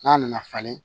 N'a nana falen